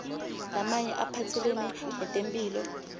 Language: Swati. lamanye aphatselene netempihlo